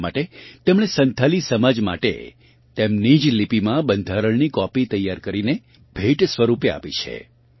એટલા માટે તેમણે સંથાલી સમાજ માટે તેમની જ લિપિમાં બંધારણની કોપી તૈયાર કરીને ભેટ સ્વરૂપે આપી છે